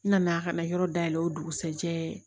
N nana ka na yɔrɔ dayɛlɛ o dugusɛjɛ